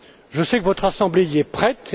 Je sais que votre assemblée y est prête.